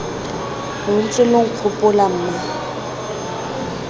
lo ntse lo nkgopola mma